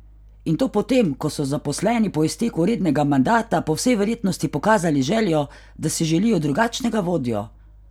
In to potem, ko so zaposleni po izteku rednega mandata po vsej verjetnosti pokazali željo, da si želijo drugačnega vodjo?